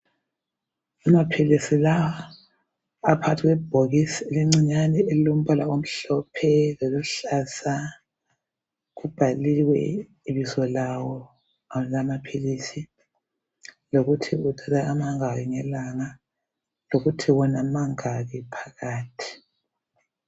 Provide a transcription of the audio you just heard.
Amaphilisi lawa aphakathi kwebhokisi elincinyane elilombala omhlophe loluhlaza kubhaliwe ibizo lawo lamaphilisi lokuthi uthatha amangaki ngelanga lokuthi wona mangaki phakathi.